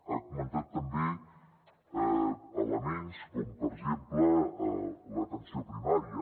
ha comentat també elements com per exemple l’atenció primària